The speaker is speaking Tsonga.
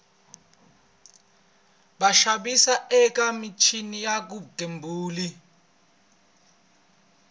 vaxavis eka michini ya vugembuli